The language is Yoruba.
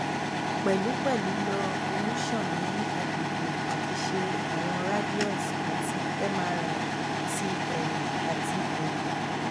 mo jẹ ọmọ ọdún mẹtàlélógún tí um mo sì máa pé ọmọ ọdún mẹrìnlélógún ọdún mẹrìnlélógún um ní oṣù karùnún